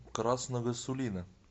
красного сулина